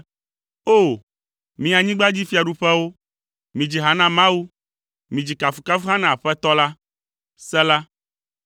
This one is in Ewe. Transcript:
O! Mi anyigbadzifiaɖuƒewo, midzi ha na Mawu, midzi kafukafuha na Aƒetɔ la, Sela